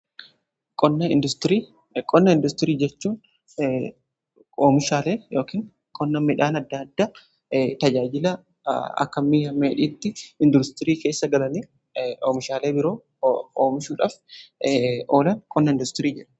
Qonna industirii: Qonna industirii jechuun oomishaalee yookiin qonna midhaan adda addaa tajaajila akka mi'a dheedhiitti industirii keessa galanii oomishaalee biroo oomishuudhaaf oolan qonna industirii jenna.